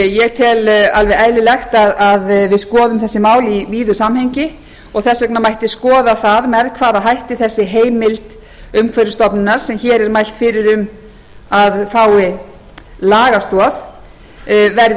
ég tel eðlilegt að við skoðum þessi mál í víðu samhengi og þess vegna mætti skoða hvernig sú heimild umhverfisstofnunar sem hér er mælt fyrir um að fái lagastoð verði